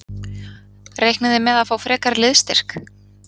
Reiknið þið með að fá frekari liðsstyrk?